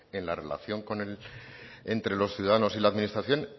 en la relación entre los ciudadanos y la administración